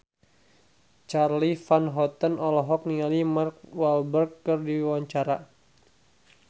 Charly Van Houten olohok ningali Mark Walberg keur diwawancara